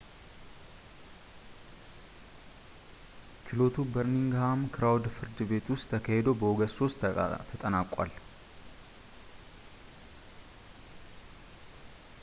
ችሎቱ በርሚንግሃም ክራውን ፍርድ ቤት ውስጥ ተካሂዶ በኦገስት 3 ተጠናቋል